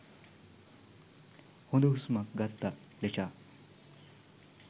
හොද හුස්මක් ගත්ත ලෙචා